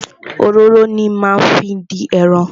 Òróró ni máa fi dín ẹran.